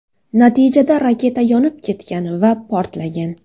Natijada raketa yonib ketgan va portlagan.